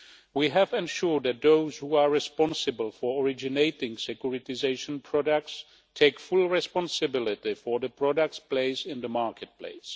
We have ensured that those who are responsible for originating securitisation products take full responsibility for the products' place in the marketplace.